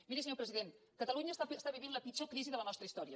miri senyor president catalunya està vivint la pitjor crisi de la nostra història